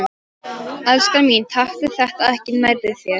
Elskan mín, taktu þetta ekki nærri þér.